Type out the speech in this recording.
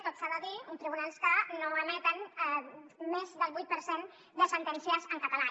tot s’ha de dir uns tribunals que no emeten més del vuit per cent de sentències en català